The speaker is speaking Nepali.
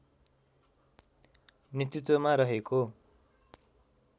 नेतृत्वमा रहेको